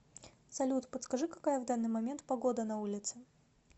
салют подскажи какая в данный момент погода на улице